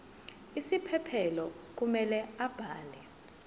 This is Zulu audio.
isiphephelo kumele abhale